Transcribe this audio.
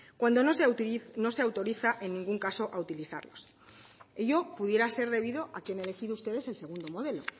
cuando no se autoriza en ningún caso a utilizarlos ello pudiera ser debido a que han elegido ustedes el segundo modelo